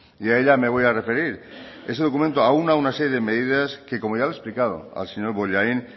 y a ella me voy a referir ese documento aúna una serie de medidas que como ya le he explicado al señor bollain